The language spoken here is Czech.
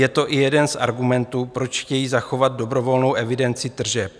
Je to i jeden z argumentů, proč chtějí zachovat dobrovolnou evidenci tržeb.